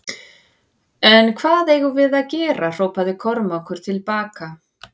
En hvað eigum við að gera hrópaði Kormákur til baka.